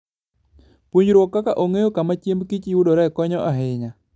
Puonjruok kaka ong'eyo kama chiembgi yudore konyo ahinya.